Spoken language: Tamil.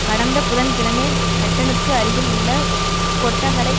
கடந்த புதன் கிழமை ஹட்டனுக்கு அருகில் உள்ள கொட்டகலை